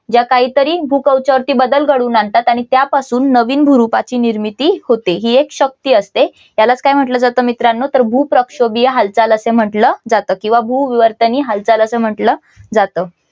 जा काहीतरी भूकवच यावरती बदल घडवून आणतात आणि त्यापासून नवीन भूरूपाची निर्मिती होते. ही एक शक्ती असते त्याला काय म्हटलं जातं मित्रांनो भूप्रक्षोभीय हालचाल असं म्हटलं जातं. किंवा भूविवर्तनीय हालचाल अस म्हटलं जातं.